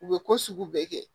U bɛ ko sugu bɛɛ kɛ